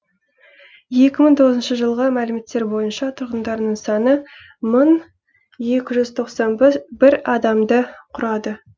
екі мың тоғызыншы жылғы мәліметтер бойынша тұрғындарының саны мыңекі жүз тоқсан бір адамды құрады